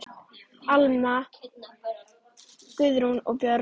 Almar, Guðrún og börn.